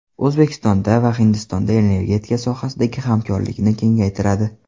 O‘zbekiston va Hindiston energetika sohasidagi hamkorlikni kengaytiradi.